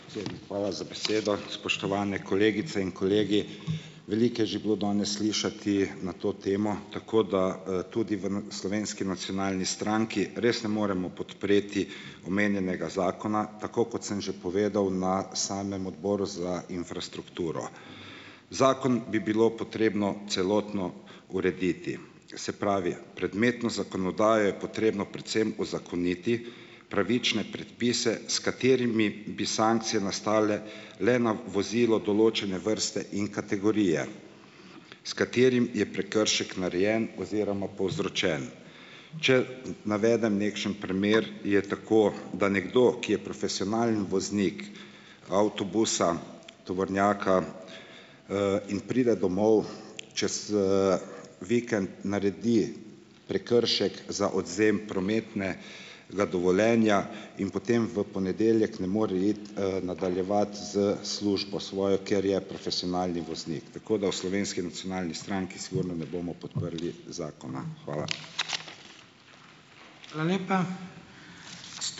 Hvala za besedo. Spoštovane kolegice in kolegi! Veliko je že bilo danes slišati na to temo, tako da tudi v Slovenski nacionalni stranki res ne moremo podpreti omenjenega zakona, tako kot sem že povedal na samem Odboru za infrastrukturo, zakon bi bilo potrebno celotno urediti. Se pravi predmetno zakonodajo je potrebno predvsem uzakoniti, pravične predpise, s katerimi bi sankcije nastale le na v vozilo določene vrste in kategorije, s katerim je prekršek narejen oziroma povzročen. če d navedem nekšen primer, je tako, da nekdo, ki je profesionalni voznik avtobusa, tovornjaka in pride domov čez vikend, naredi prekršek za odvzem prometne ga dovoljenja in potem v ponedeljek ne more iti nadaljevati s službo svojo, ker je profesionalni voznik. Tako da v Slovenski nacionalni stranki sigurno ne bomo podprli zakona. Hvala.